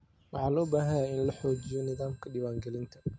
Waxa loo baahan yahay in la xoojiyo nidaamka diwaan gelinta.